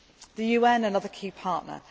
The UN is another key